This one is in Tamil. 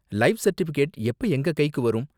லைஃப் சர்டிபிகேட் எப்ப எங்க கைக்கு வரும்?